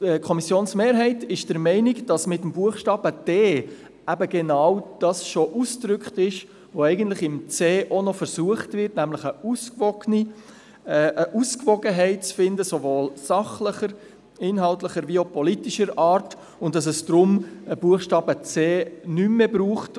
Die Kommissionsmehrheit ist der Meinung, dass mit dem Buchstaben d genau das, was man im Buchstaben c auch noch versucht, schon ausgedrückt ist, nämlich eine Ausgewogenheit sowohl sachlicher, inhaltlicher als auch politischer Art zu finden, und dass es darum den Buchstaben c nicht mehr braucht.